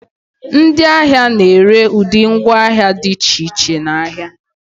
ndị ahịa na-ere ụdị ngwaahịa dị iche iche n'ahịa